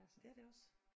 Det er det også